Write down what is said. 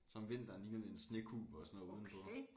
Så om vinteren ligner det en snekuppel og sådan noget udenpå